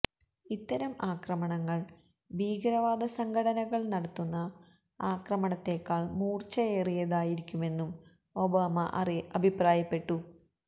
ഇത്തരം ആക്രമണങ്ങള് ഭീകരവാദ സംഘടനകള് നടത്തുന്ന ആക്രമണത്തെക്കാള് മൂര്ച്ചയേറിയതായിരിക്കുമെന്നും ഒബാമ അഭിപ്രായപ്പെട്ടു